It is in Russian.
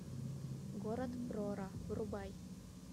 город прора врубай